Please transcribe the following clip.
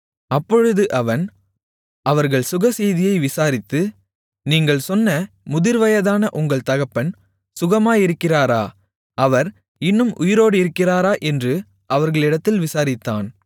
அப்பொழுது அவன் அவர்கள் சுகசெய்தியை விசாரித்து நீங்கள் சொன்ன முதிர்வயதான உங்கள் தகப்பன் சுகமாயிருக்கிறாரா அவர் இன்னும் உயிரோடிருக்கிறாரா என்று அவர்களிடத்தில் விசாரித்தான்